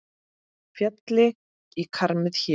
Félli hann í kramið hér?